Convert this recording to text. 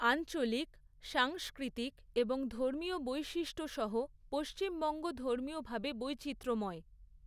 আঞ্চলিক, সাংস্কৃতিক এবং ধর্মীয় বৈশিষ্ট্য সহ পশ্চিমবঙ্গ ধর্মীয়ভাবে বৈচিত্র্যময়।